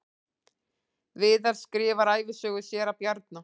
Viðar skrifar ævisögu séra Bjarna